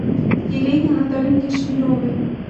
елене анатольевне шмелевой